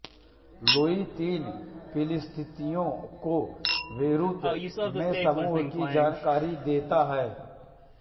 Louis तीन फिलिस्तीनियों को बेरूत में समूह की जानकारी देता है